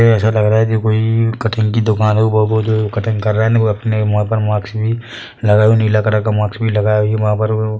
ये ऐसा लग रहा है जैसे कोई कटिंग की दुकान है बालो जो कटिंग कर रहा है वो अपने मुँह पर मास्क भी लगाई हुआ है नीला कलर का मास्क भी लगाया है वहां पर वो।